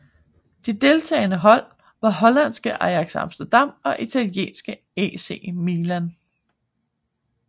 De deltagende hold var holandske Ajax Amsterdam og italienske AC Milan